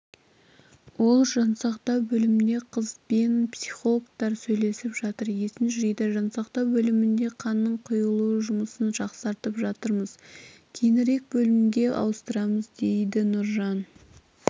ол жансақтау бөлімінде қызбен психологтар сөйлесіп жатыр есін жиды жансақтау бөлімінде қанның құйылу жұмысын жақсартып жатырмыз кейінірек бөлімге ауыстырамыз дедінұржан